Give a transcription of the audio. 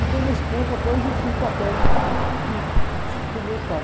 Então, nesse ponto, até eu exerci o papel de, de substituto do meu pai.